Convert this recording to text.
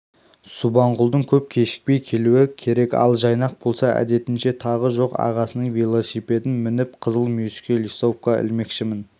субанқұлдың көп кешікпей келуі керек ал жайнақ болса әдетінше тағы жоқ ағасының велосипедін мініп қызыл мүйіске листовка ілмекшімін